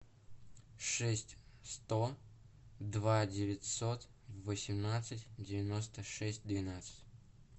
шесть сто два девятьсот восемнадцать девяносто шесть двенадцать